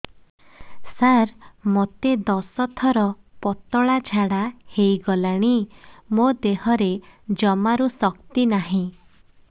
ସାର ମୋତେ ଦଶ ଥର ପତଳା ଝାଡା ହେଇଗଲାଣି ମୋ ଦେହରେ ଜମାରୁ ଶକ୍ତି ନାହିଁ